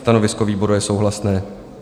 Stanovisko výboru je souhlasné.